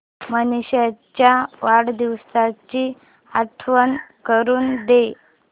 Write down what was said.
मनीष च्या वाढदिवसाची आठवण करून दे